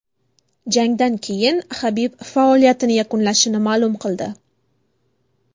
Jangdan keyin Habib faoliyatini yakunlashini ma’lum qildi .